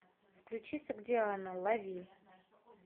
включи согдиана лови